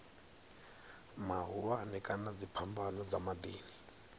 mahulwane kana dziphambano dza miḓini